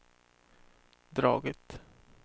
dragit